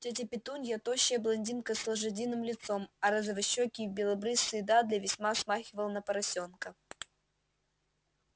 тётя петунья тощая блондинка с лошадиным лицом а розовощёкий и белобрысый дадли весьма смахивал на поросёнка